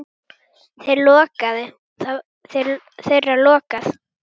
Þeirra lokað.